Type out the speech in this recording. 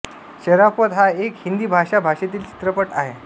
शराफ़त हा एक हिंदी भाषा भाषेतील चित्रपट आहे